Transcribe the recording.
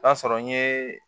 O y'a sɔrɔ n ye